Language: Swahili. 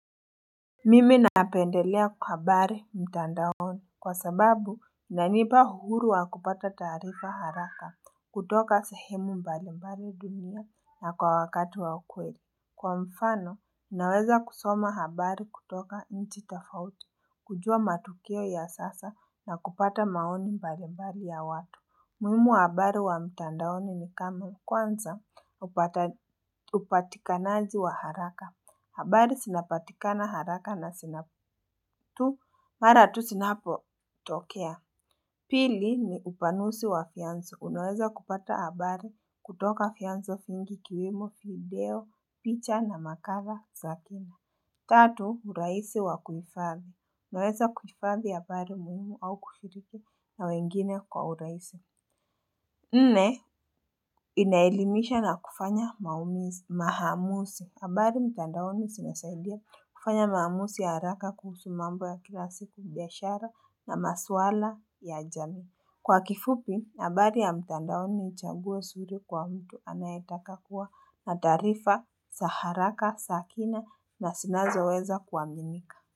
Mimi napendelea habari mtandaoni kwa sababu inanipa uhuru wa kupata taarifa haraka kutoka sehemu mbalimbali dunia na kwa wakati wa ukweli Kwa mfano, naweza kusoma habari kutoka nchi tofauti, kujua matukio ya sasa na kupata maoni mbalimbali ya watu umuhimu wa habari wa mtandaoni ni kama kwanza upatikanaji wa haraka habari zinapatikana haraka na zinapotu mara tu zinapotokea. Pili ni upanusi wa vyanzo. Unaweza kupata habari kutoka vyanzo vingi kiwemo, video, picha na makara, zakima. Tatu, uraisi wa kujifadhi. Unaweza kuifadhi habari muhimu au kushiriki na wengine kwa uraisi. Nne inaelimisha na kufanya mahamusi abari mtandaoni sinasaidia kufanya maamusi ya haraka kuhusu mambo ya kila siki biyashara na maswala ya jami Kwa kifupi, abari ya mtandaoni ichabue suri kwa mtu anayetaka kuwa natarifa, za haraka, sakina na zinazoweza kuaminika.